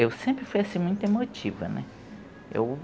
Eu sempre fui assim, muito emotiva, né? Eu